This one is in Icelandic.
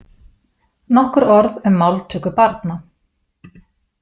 Nokkur orð um máltöku barna.